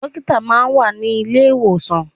Dókítà máa ń wà ní ilé ìwòsàn.